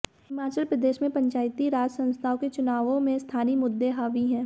हिमाचल प्रदेश में पंचायती राज संस्थाओं के चुनावों में स्थानीय मुद्दे हावी हैं